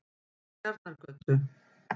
Tjarnargötu